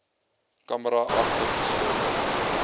camera agter geslote